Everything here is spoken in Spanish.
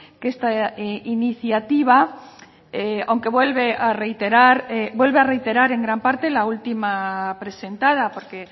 que esta iniciativa aunque vuelve a reiterar vuelve a reiterar en gran parte la última presentada porque